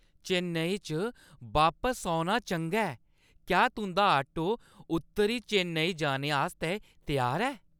चेन्नई च बापस औना चंगा ऐ। क्या तुंʼदा ऑटो उत्तरी चेन्नई जाने आस्तै त्यार ऐ?